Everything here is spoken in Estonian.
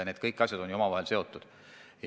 Need asjad on kõik omavahel seotud.